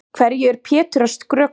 Hverju er Pétur að skrökva?